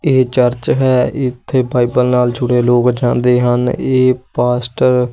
ਇਹ ਚਰਚ ਹੈ ਇੱਥੇ ਬਾਈਬਲ ਨਾਲ ਜੁੜੇ ਲੋਕ ਜਾਂਦੇ ਹਨ ਇਹ ਪਾਸਟਰ--